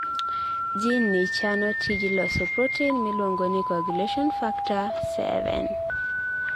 geneni chano tij loso protein miluongoni coagulation factor XII.